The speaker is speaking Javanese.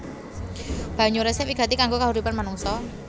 Banyu resik wigati kanggo kahuripan manungsa